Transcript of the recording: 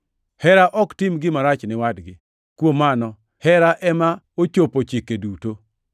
Hera ok tim gima rach ni wadgi. Kuom mano, hera ema ochopo chike duto.